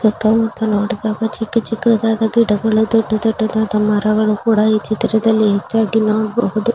ಸುತ್ತ ಮುತ್ತ ನೋಡಿದಾಗ ಚಿಕ್ಕ ಚಿಕ್ಕದಾದ ಗಿಡಗಳು ದೊಡ್ಡ ದೊಡ್ಡದಾದ ಮರಗಳು ಕೂಡ ಈ ಚಿತ್ರದಲ್ಲಿ ಹೆಚ್ಚಾಗಿ ನೋಡಬಹುದು.